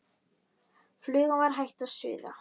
Flugan var hætt að suða.